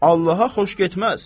Allaha xoş getməz.